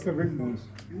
Yaxşı gördünüz?